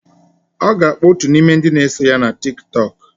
Ọ ga-akpọ otu n'ime ndị na-eso ya na Tiktok.